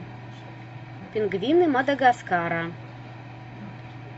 пингвины мадагаскара